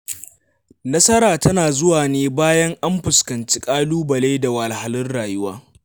Nasara tana zuwa ne bayan an fuskanci ƙalubale da wahalhalun rayuwa.